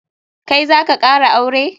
Kai zaka kara aure?